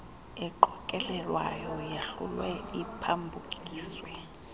eqokelelwayo yahlulwe iphambukiswe